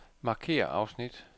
Markér afsnit.